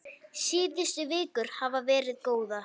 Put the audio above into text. Síðustu vikur hafa verið góðar.